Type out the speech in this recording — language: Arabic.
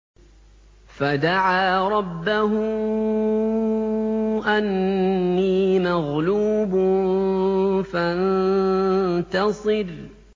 فَدَعَا رَبَّهُ أَنِّي مَغْلُوبٌ فَانتَصِرْ